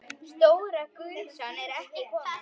Stóra gusan er ekki komin.